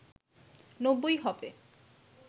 নব্বই হবে